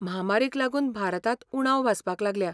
म्हामारीक लागून भारतांत उणाव भासपाक लागल्या.